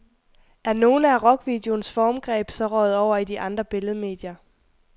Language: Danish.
Er nogle af rockvideoens formgreb så røget over i de andre billedmedier.